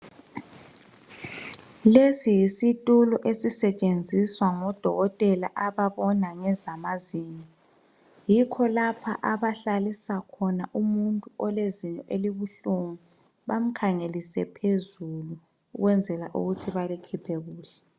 Lesi yisitulo esisetshenziswa ngodokotela ababona ngezamazinyo yikho lapha abahlalisa umuntu olezinyo elibuhlungu bamkhangelise phezulu ukwenzela ukuthi balikhiphe kuhle.